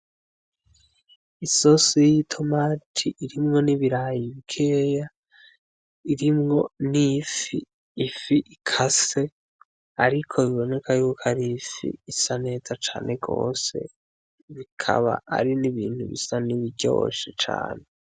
Isosi y'itomati irimwo n'ibirayi bikeya, irimwo n'ifi, ifi ikase, ariko biboneka yuko ari ifi isa neza cane gose bikaba ari n'ibintu bisa n'ibiryoshe cane.